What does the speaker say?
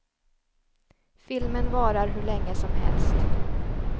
Filmen varar hur länge som helst.